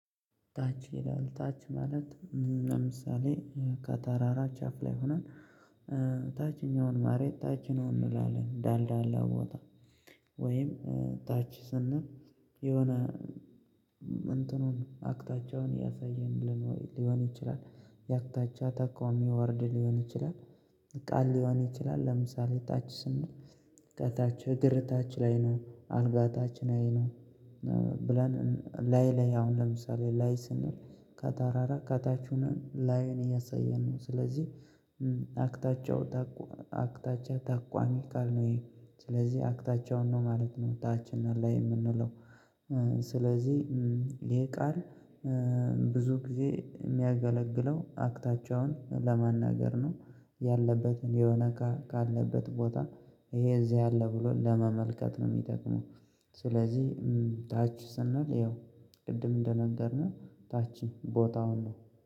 ታች ይላል ታች ማለት ለምሳሌ ከታራራ ቻፍ ላይ ሆነን ታችኛውን ማሬታችን እንላለን ዳልዳላ ቦታ ወይም ታች ስንል የሆነ እንትኑን አቅታቸውን ያሳየንልን ሊሆን ይችላል። የአክታቻ አተኮሚ ወርድ ሊሆን ይችላል። ቃል ሊሆን ይችላል ለምሳሌ ታች ስንል ከታች እግር ታች ላይ ነው አልጋታችሁን አይ ነው። ብለን ላይ ላይ አሁን ለምሳሌ ላይ ስንል ከታራራ ከታቹንም ላይን እያሳየን ነው። ስለዚህ አቅታቸው አክታቸው ታቋሚ ቃል ነው ይሄ ስለዚህ አክታቻውን ነው ማለት ነው። ታችን ላይ የምንለው ስለዚህ ይሄ ቃል ብዙ ጊዜ የሚያገለግለው አክታቸውን ለመናገር ነው ያለበትን የሆነ ካለበት ቦታ ይሄ እዚህ ያለ ብሎ ለመመልከት ነው የሚጠቅመው። ስለዚህ ታች ስናል ያው ቅድም እንደነገርነው ታችኝ ቦታ ሁሉ